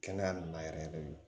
Kɛnɛya nin na yɛrɛ yɛrɛ de